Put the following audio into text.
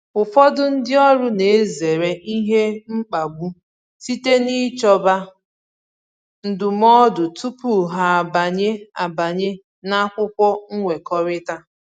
Ụfọdụ ndị ọrụ na-ezere ihe mkpagbu site n'ichọba ndụmọdụ tupu ha abanye abanye n’akwụkwọ nkwekọrịta.